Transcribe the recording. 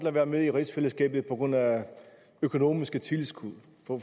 at være med i rigsfællesskabet på grund af økonomiske tilskud